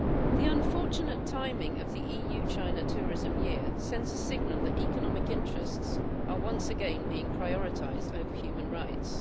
The unfortunate timing of the EU China Tourism Year sends a signal that economic interests are once again being prioritised over human rights.